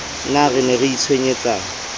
na re ne re itshwenyetsang